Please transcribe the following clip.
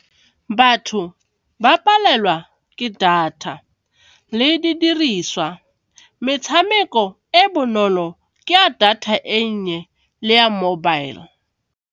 Batho ba palelwa ke data le didiriswa, metshameko e bonolo ke ya data e nnye le ya mobile.